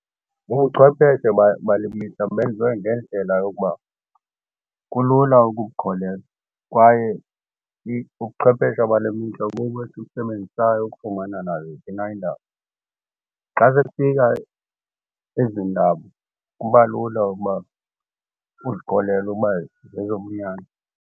Ubuchwepeshe baye bale mihla benziwe ngendlela yokuba kulula ukukholelwa kwaye ubuchwephesha bale mihla bubo esibusebenzisayo ukufumana naziphi na iindaba. Xa sekufika ezi ndaba kuba lula ukuba uzikholelwe uba zezobunyani.